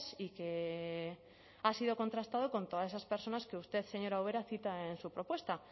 y que ha sido contrastado con todas esas personas que usted señora ubera cita en su propuesta